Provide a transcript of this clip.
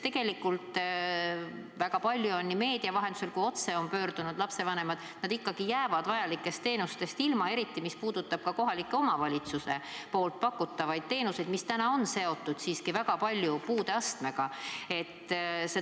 Tegelikult on väga paljud lapsevanemad nii meedia vahendusel kui ka otse teatanud, et nad jäävad vajalikest teenustest ilma, eriti mis puudutab kohaliku omavalitsuse pakutavaid teenuseid, mis täna on väga paljuski seotud siiski puudeastmega.